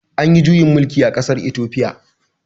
Anyi juyin mulki a ƙasar itofiya